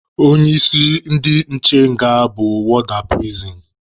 Onye isi ndị nche nga bụ wọọda pirisin.